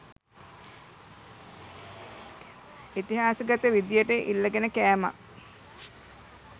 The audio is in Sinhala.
ඉතිහාසගත විදියට ඉල්ලගෙන කෑමක්